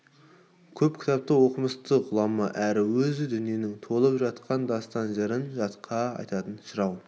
көп кітапты оқымысты ғұлама әрі өзі дүниенің толып жатқан дастан-жырын жатқа айтатын жырау